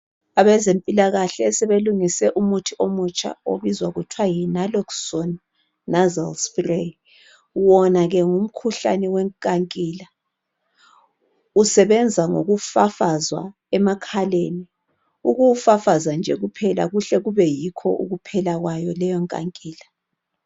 Abezempilakahle sebungise umuthi omutsha obizwa kuthiwa yi Naloxone Nasal spray, wona ke ngumkhuhlane wenkankila, usebenza ukufafazwa emekhaleni. Ukuwufafaza nje kuhle kube yikho ukuphela kwayo leyonkankila